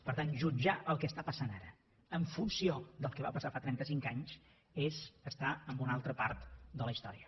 per tant jutjar el que passa ara en funció del que va passar fa trenta cinc anys és estar en una altra part de la història